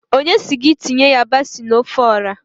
Onye si gị tinye yabasị na ofe Ọra?